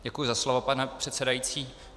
Děkuji za slovo, pane předsedající.